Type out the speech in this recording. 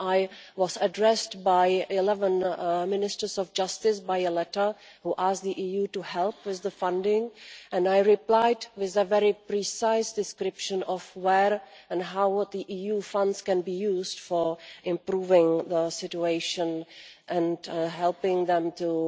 I was addressed by 11 Ministers of Justice by letter, who asked the EU to help with funding and I replied with a very precise description of where and how EU funds can be used for improving the situation, and helping them to